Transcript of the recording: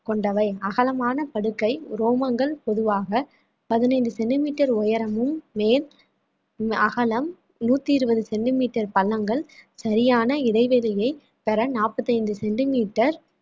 கொண்டவை அகலமான படுக்கை ரோமங்கள் பொதுவாக பதினைந்து centimetre உயரமும் மேல் அகலம் நூற்றி இருபது centimetre பள்ளங்கள் சரியான இடைவெளியை பெற நாற்பத்தி ஐந்து centimetre